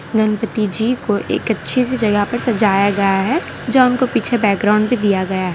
गणपति जी को एक अच्छी सी जगह पर सजाया गया है जहां उनको पीछे बैकग्राउंड भी दिया गया है।